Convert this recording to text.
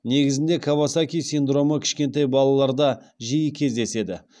негізінде кавасаки синдромы кішкентай балаларда жиі кездеседі